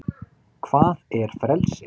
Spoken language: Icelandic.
hvað er frelsi